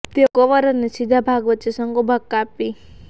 તેઓ કવર અને સીધા ભાગ વચ્ચે શંકુ ભાગ કાપી